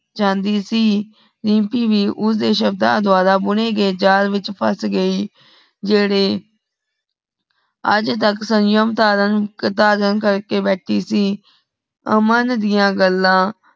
ਜਾਂਧੀ ਸੀ ਰੀਮਪੀ ਭੀ ਉਸ ਦੇ ਸ਼ਬਦਾ ਦਵਾਰਾ ਬੁਨੇ ਗਏ ਜਾਲ ਵਿਚ ਫੱਸ ਗਈ ਸੀ ਜੇਦੇ ਆਜ ਆਜ ਤਕ ਸੰਯਮ ਧਾਰਨ ਕਧਾਰਨ ਕਰਕੇ ਭੇਤੀ ਸੀ ਅਮਨ ਦੀਆ ਗਲਾ